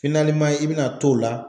i bɛna to o la